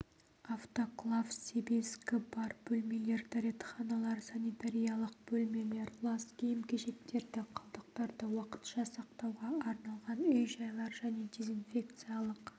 автоклав себезгі бар бөлмелер дәретханалар санитариялық бөлмелер лас киім-кешектерді қалдықтарды уақытша сақтауға арналған үй-жайлар және дезинфекциялық